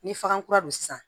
Ni faga kura don sisan